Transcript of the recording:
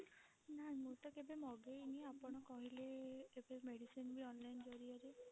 ନା ମୁଁ ତ କେବେ ମଗେଇନି ଆପଣ କହିଲେ ଏବେ medicine ବି online ଜରିଆରେ